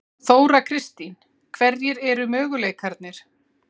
Þóra Kristín: Hverjir eru möguleikarnir?